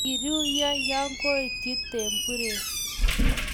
kiiryony ya koityi temburiek